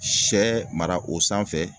Sɛ mara o sanfɛ